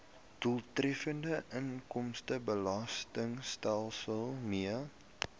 doeltreffende inkomstebelastingstelsel mee